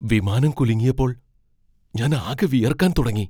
വിമാനം കുലുങ്ങിയപ്പോൾ ഞാനാകെ വിയർക്കാൻ തുടങ്ങി.